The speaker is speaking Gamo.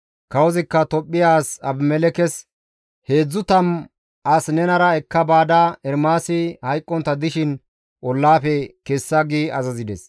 Kawozikka Tophphiya as Abimelekkes, «Heedzdzu tammu as nenara ekka baada Ermaasi hayqqontta dishin ollaafe kessa» gi azazides.